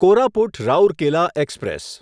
Koraput Rourkela express